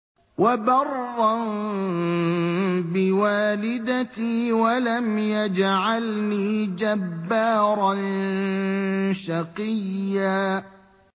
وَبَرًّا بِوَالِدَتِي وَلَمْ يَجْعَلْنِي جَبَّارًا شَقِيًّا